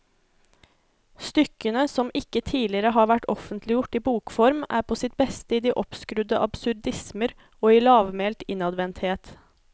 Stykkene, som ikke tidligere har vært offentliggjort i bokform, er på sitt beste i de oppskrudde absurdismer og i lavmælt innadvendthet.